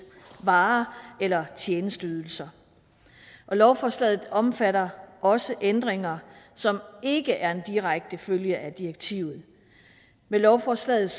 varer eller tjenesteydelser og lovforslaget omfatter også ændringer som ikke er en direkte følge af direktivet med lovforslaget